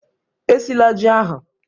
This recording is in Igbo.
Esila ji ahụ!